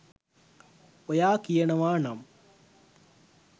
ඔයා කියනවා නම්